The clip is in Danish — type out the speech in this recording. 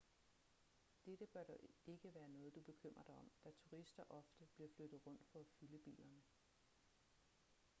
dette bør dog ikke være noget du bekymrer dig om da turister ofte bliver flyttet rundt for at fylde bilerne